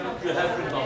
Yox da yox.